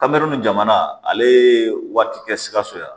Kamɛri nin jamana ale ye waati kɛ sikaso yan